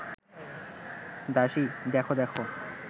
দাসী, দেখ দেখ